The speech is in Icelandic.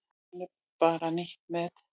Núna er bara nýtt mót.